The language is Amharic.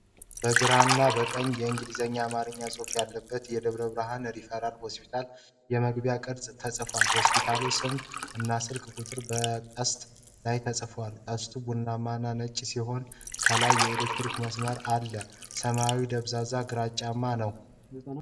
በግራና በቀኝ የእንግሊዝኛና የአማርኛ ጽሁፍ ያለበት ደብረ ብርሃን ሪፈራል ሆስፒታል የመግቢያ ቅስት ተጽፏል። የሆስፒታሉ ስም እና የስልክ ቁጥሮች በቅስቱ ላይ ተጽፈዋል። ቅስቱ ቡናማና ነጭ ሲሆን፣ ከላይ የኤሌክትሪክ መስመር አለ። ሰማዩ ደብዛዛና ግራጫማ ነው።